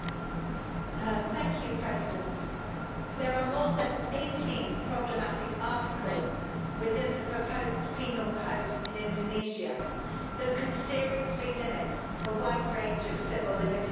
Mr President, there are more than eighteen problematic articles within the proposed Penal Code in Indonesia that could seriously limit a wide range of civil liberties.